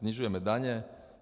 Snižujeme daně.